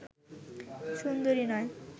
সুন্দরী নয়